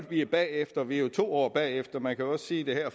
vi er bagefter vi er jo to år bagefter man kan også sige at